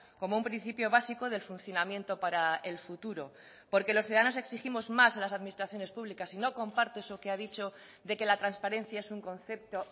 como un principio básico del funcionamiento para el futuro porque los ciudadanos exigimos más a las administraciones públicas y no comparto eso que ha dicho de que la transparencia es un concepto